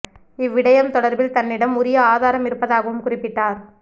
இவ்விடயம் தொடர்பில் தன்னிடம் உரிய ஆதாரம் இருப்பதாகவும் குறிப்பிட்டார்